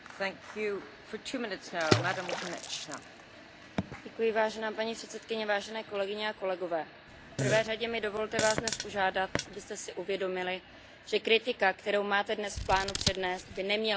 Paní předsedající, v prvé řadě mi dovolte Vás dnes požádat, abyste si uvědomili, že kritika, kterou máte dnes v plánu přednést, by neměla být namířena proti obyvatelům České republiky a ani proti naší zemi.